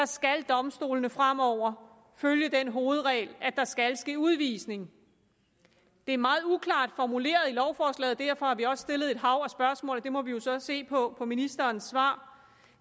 skal domstolene fremover følge den hovedregel at der skal ske udvisning det er meget uklart formuleret i lovforslaget og derfor har vi også stillet et hav af spørgsmål og der må vi jo så se på ministerens svar